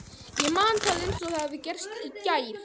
Ég man það eins og það hefði gerst í gær.